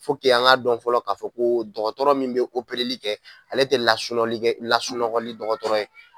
an ka dɔn fɔlɔ k'a fɔ ko dɔgɔtɔrɔ min bɛ opereli kɛ , ale tɛ lasunɔgɔli kɛ lasunɔgɔli dɔgɔtɔrɔ ye.